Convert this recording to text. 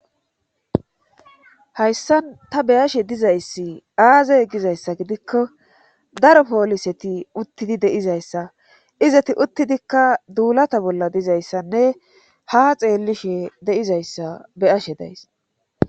hayssan ta beyashe dizayssi aazey gizayssa gidikko daro pooliseti uttidi deizayssa izati uttidikka duulata bolla dizayssanne ha xeellishe de'izayssi beyashe days